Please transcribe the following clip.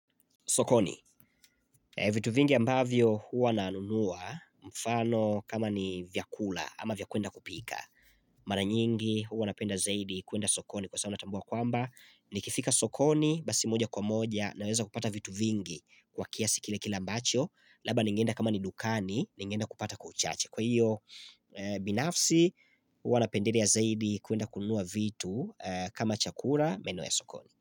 Sokoni, vitu vingi ambavyo huwa nanunua mfano kama ni vyakula ama vya kwenda kupika. Mara nyingi huwa napenda zaidi kuenda sokoni kwa saa natambua kwamba. Nikifika sokoni basi moja kwa moja naweza kupata vitu vingi kwa kiasi kile kile ambacho. Laba ningeenda kama ni dukani ningeenda kupata kwa uchache. Kwa hiyo binafsi huwa napendelea zaidi kuenda kunua vitu kama chakura meno ya sokoni.